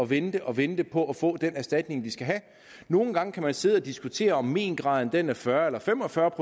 vente og vente på at få den erstatning de skal have nogle gange kan man sidde og diskutere om méngraden er fyrre eller fem og fyrre